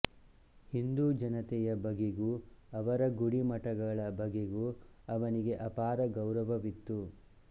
ಹಿಂದೂ ಜನತೆಯ ಬಗೆಗೂ ಅವರ ಗುಡಿ ಮಠಗಳ ಬಗೆಗೂ ಅವನಿಗೆ ಅಪಾರ ಗೌರವವಿತ್ತು